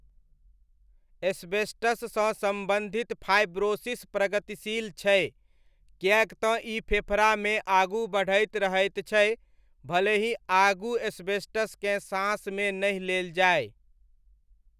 एस्बेस्टससँ सम्बन्धित फाइब्रोसिस प्रगतिशील छै, किएक ई फेफड़ामे आगू बढ़ैत रहैत छै भले ही आगू एस्बेस्टसकेँ साँसमे नहि लेल जाय।